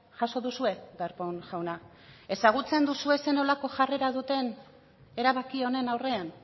jaso duzue darpón jauna ezagutzen duzue ze nolako jarrera duten erabaki honen aurrean